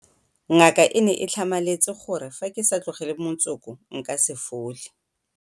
Ngaka e ne e tlhamaletse gore fa ke sa tlogele motsoko nka se fole.